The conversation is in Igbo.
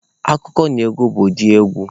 Akụkọnaegwu bụ ụdị egwu